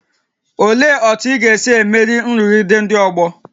Olee otú ị ga-esi emeri nrụgide ndị ọgbọ?